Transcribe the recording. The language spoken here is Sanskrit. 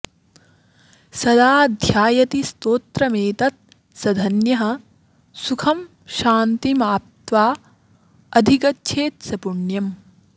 सदा ध्यायति स्तोत्रमेतत्स धन्यः सुखं शान्तिमाप्त्वाधिगच्छेत् स पुण्यम्